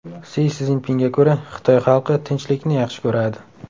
Si Szinpinga ko‘ra, Xitoy xalqi tinchlikni yaxshi ko‘radi.